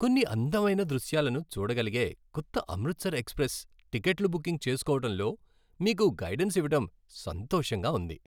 కొన్ని అందమైన దృశ్యాలను చూడగలిగే కొత్త 'అమృతర్ ఎక్స్ప్రెస్' టిక్కెట్లు బుకింగ్ చేస్కోవటంలో మీకు గైడెన్స్ ఇవ్వడం సంతోషంగా ఉంది.